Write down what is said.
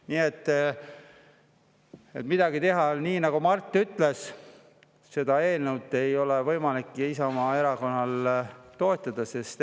" Nii et midagi teha ei ole, nii nagu Mart ütles, Isamaa Erakonnal ei ole võimalik seda eelnõu toetada.